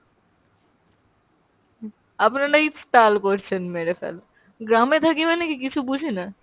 হুম আপনারাই তাল করছেন মেরে ফেল~ গ্রামে থাকি মানে কি কিছু বুঝিনা?